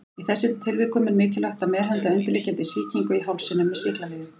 Í þessum tilvikum er mikilvægt að meðhöndla undirliggjandi sýkingu í hálsinum með sýklalyfjum.